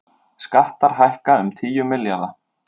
Skattar hækka um tíu milljarða